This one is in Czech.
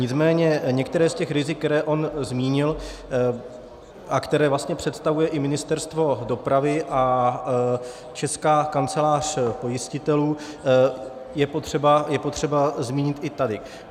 Nicméně některá z těch rizik, která on zmínil a která vlastně představuje i Ministerstvo dopravy a Česká kancelář pojistitelů, je potřeba zmínit i tady.